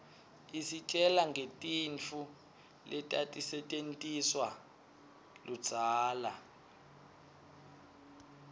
isitjela ngetintfu letatisetjentiswaluudzala